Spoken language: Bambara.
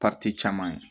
caman ye